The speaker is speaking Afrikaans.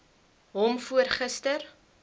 hom voor gister